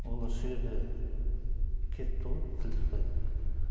олар сол жерде кетіпті ғой тіл тартпай